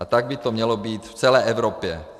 A tak by to mělo být v celé Evropě.